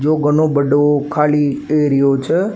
यो घणो बड़ो खाली एरियो छे।